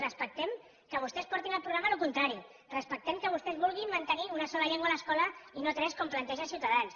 respectem que vostès portin al programa el contrari respectem que vostès vulguin mantenir una sola llengua a l’escola i no tres com planteja ciutadans